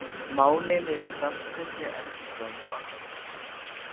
Málin eru í stanslausri endurskoðun og athugun.